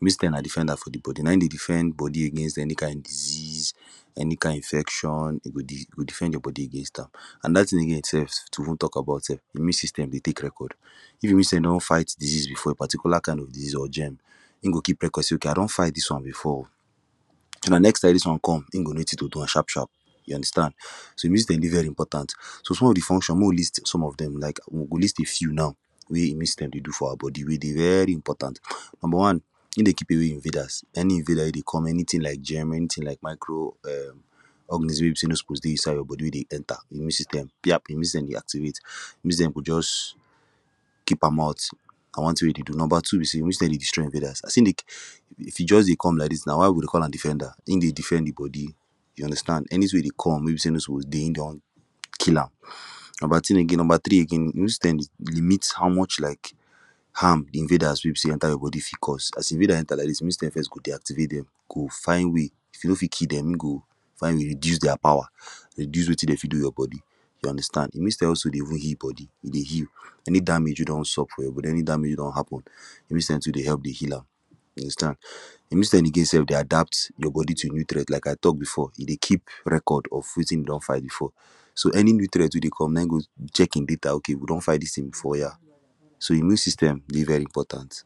immune system na defender for de body na him dey defend body against any kind disease any kind infection e go defend your body against am anoda thing again sef too mek we tok about sef immune system dey take record if e see say e don fight disease before a particular kind of disease or germ him go keep record say okay I don fight dis one before oo so dat next time dis one com him go know wetin to do am sharp sharp you understand so immune system dey very important so some of de functions mek we list some of them like we go list a few now wey immune system dey do for our body wey dey very important number one him dey keep away invaders any invader wey dey com anytin like germ anytin like micro[um]organism wey be say e no suppose dey inside your body wey dey enter immune system piap immune system dey activate immune system go just um keep am out na one tin wey e dey do number two be say immune system dey destroy invaders as him dey[um] if e just dey come like dis na why we dey call am defender him dey defend de body you understand anytin wey dey come wey be say e no suppose dey him don kill am number tin number three again immune system limit how much like harm de invaders wey be say enter your body fi cause as invader enter like dis your immune system first go deactivate dem e go find way if e no fit kill dem e go find way reduce dia power reduce wetin dem fit do your body you understand immune system also dey even heal body e dey heal any damage wey don sup for your body any damage wey don happen immune system too dey help dey heal am you understand. Immune system again sef dey adapt your body to new threat like I tok before e dey keep record of wetin him don fight before so any new threat wey dey com na him go check him data okay we don fight dis tin before oya so immune system dey very important